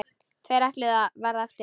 Tveir ætluðu að verða eftir.